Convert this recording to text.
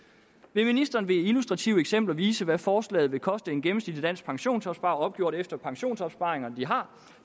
vil ministeren ved illustrative eksempler vise hvad forslaget vil koste en gennemsnitlig dansk pensionsopsparer opgjort efter hvilken pensionsopsparinger de har